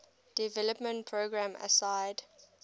development programs aside